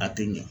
A tɛ ɲɛ